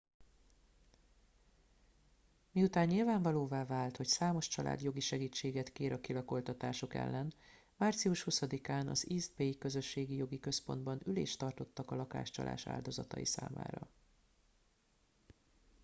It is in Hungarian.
miután nyilvánvalóvá vált hogy számos család jogi segítséget kér a kilakoltatások ellen március 20 án az east bay közösségi jogi központban ülést tartottak a lakáscsalás áldozatai számára